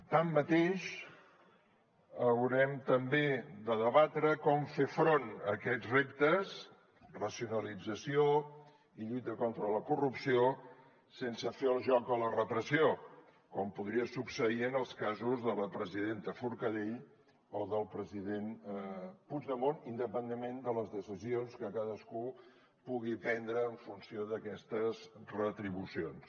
tanmateix haurem també de debatre com fer front a aquests reptes racionalització i lluita contra la corrupció sense fer el joc a la repressió com podria succeir en els casos de la presidenta forcadell o del president puigdemont independentment de les decisions que cadascú pugui prendre en funció d’aquestes retribucions